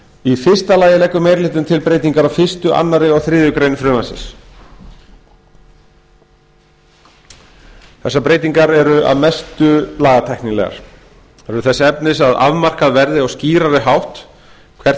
í fyrsta lagi leggur meiri hlutinn til breytingar á fyrsta annað og þriðju greinar frumvarpsins sem að mestu eru lagatæknilegar þess efnis að afmarkað verði á skýrari hátt hvert